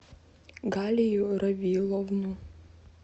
галию равиловну